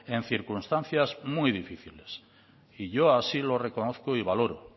en circunstancias muy difíciles y yo así lo reconozco y valoro